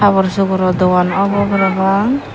habor suoro dogan obo parapang.